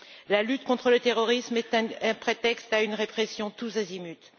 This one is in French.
La lutte contre le terrorisme est un prétexte à une répression tous azimuts.